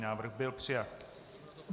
Návrh byl přijat.